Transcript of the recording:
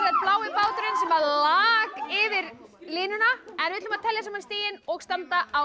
blái báturinn sem lak yfir línuna við ætlum að telja saman stigin og standa á